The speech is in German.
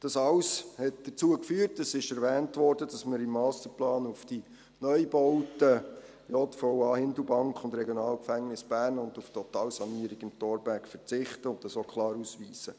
Dies alles hat dazu geführt – dies wurde erwähnt –, dass wir im Masterplan auf die Neubauten JVA Hindelbank und RG Bern sowie auf die Totalsanierung im Thorberg verzichten und dies auch klar ausweisen.